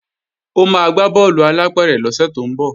Ó máa gbá bọ́ọ̀lù alápẹ̀rẹ̀ lọ́sẹ̀ tó ń bọ̀